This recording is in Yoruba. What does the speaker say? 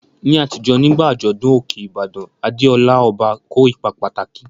Ní àtijọ́, nígbà àjọ̀dún Òkè Ìbàdàn, Adeola, ọba, kó ipa pàtàkì.